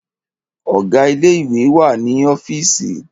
Ọ̀gá ilé ìwé wà ní ọ́fììsì.